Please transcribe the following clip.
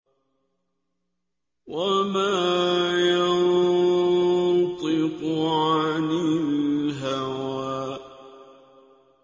وَمَا يَنطِقُ عَنِ الْهَوَىٰ